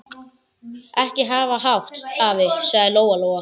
Ekki hafa hátt, afi, sagði Lóa Lóa.